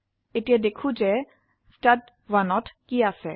এতিয়া দেখো যে ষ্টাড1 এ কি আছে